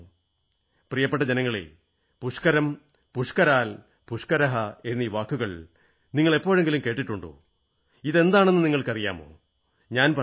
പ്രിയപ്പെട്ട ജനങ്ങളേ പുഷ്കരം പുഷ്കരാൽ പുഷ്കരഃ എന്നീ വാക്കുകൾ നിങ്ങൾ എപ്പോഴെങ്കിലും കേട്ടിട്ടുണ്ടോ ഇതെന്താണെന്ന് നിങ്ങൾക്കറിയാമോ ഞാൻ പറയാം